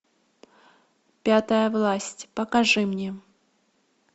пятая власть покажи мне